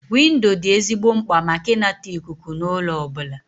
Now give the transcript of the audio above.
Windo dị ezigbo mkpa maka ịnata ikuku na ụlọ ọbụla